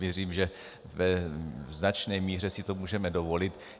Věřím, že ve značné míře si to můžeme dovolit.